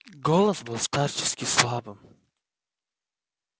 голос был старчески слабым